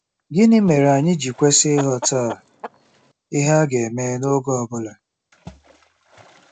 Gịnị mere anyị ji kwesị ịghọta ihe a ga-eme n’oge ọ bụla?